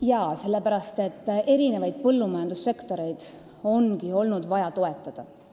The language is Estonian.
Jaa, sellepärast et põllumajanduse eri sektoreid ongi olnud vaja toetada.